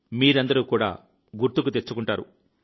మీరందరూ కూడా గుర్తుకు తెచ్చుకుంటారు